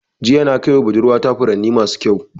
Jiya na kaiwa budurwa ta furanni masu ƙyau.